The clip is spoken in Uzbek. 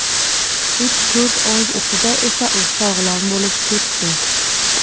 Uch-to‘rt oy ichida esa u sog‘lom bo‘lib ketdi.